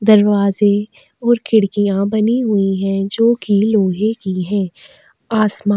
दरवाजे और खिड़कियाँ बनी हुई हैं जो कि लोहे की हैं आसमा --